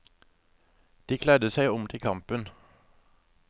De kledde seg om til kampen.